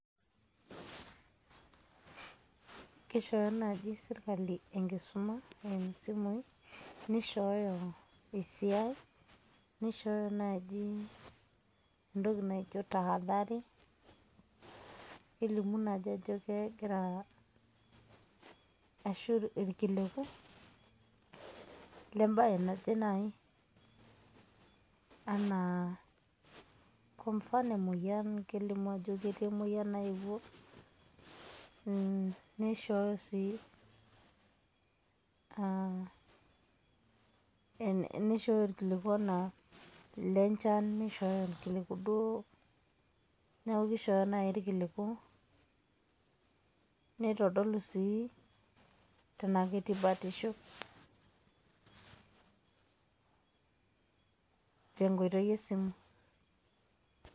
Kishoooyo naaji sirkali enkisuma eimu simui, nishooyo esiai, nishooyo naaji entoki naijo tahadhari, kelimu naa ajo kegira ashu irkiliku le mbae naje nai anaa kwa mfano emoyian, Kelimu naa ajo ketii emoyian naeuo, neishoyoo sii a neishooyo irkiliku anaa le nchan nishooyo irkiliku duo. Neeku kishooyo nai irkiliku nitodolu sii tenakiti batisho tenkoitoi e simu.